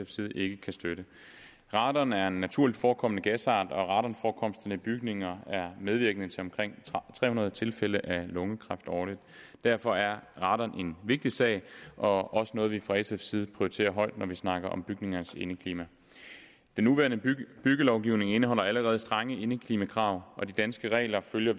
side ikke kan støtte radon er en naturligt forekommende gasart og radonforekomsten i bygninger er medvirkende til omkring tre hundrede tilfælde af lungekræft årligt derfor er radon en vigtig sag og også noget vi fra sfs side prioriterer højt når vi snakker om bygningers indeklima den nuværende byggelovgivning indeholder allerede strenge indeklimakrav og de danske regler følger